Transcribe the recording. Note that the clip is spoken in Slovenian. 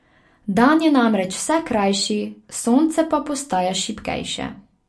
Dan je namreč vse krajši, sonce pa postaja šibkejše.